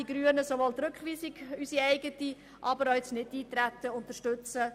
Die Grünen beantragen daher, die Rückweisung und das Nichteintreten zu unterstützen.